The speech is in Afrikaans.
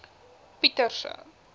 pieterse